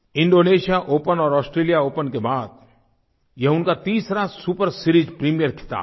Indonesia open और Australia open के बाद ये उनका तीसरा सुपर सीरीज प्रीमियर ख़िताब है